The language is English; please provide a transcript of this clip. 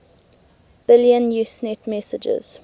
billion usenet messages